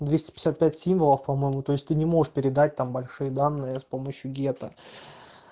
двести пятьдесят пять символов по-моему то есть ты не можешь передать там большие данные с помощью гетто